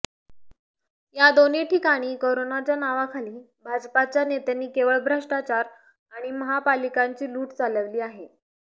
या दोन्ही ठिकाणी करोनाच्या नावाखाली भाजपाच्या नेत्यांनी केवळ भ्रष्टाचार आणि महापालिकांची लूट चालविली आहे